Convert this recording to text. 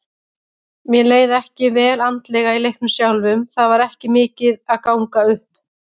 Mér leið ekki vel andlega í leiknum sjálfum, það var ekki mikið að ganga upp.